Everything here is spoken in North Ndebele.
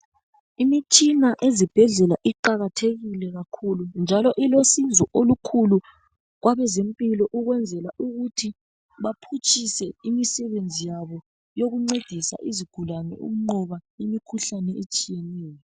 Imitshina ezibhedlela iqakathekile kakhulu njalo ilosizo olukhulu kwabezempilo ukwenzela ukuthi baphutshise imisebenzi yabo yokuncedisa izigulane ukunqoba imikhuhlane etshiyeneyo.